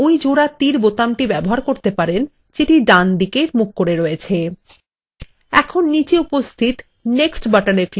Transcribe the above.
এখন নীচে উপস্থিত next বাটনএ ক্লিক করুন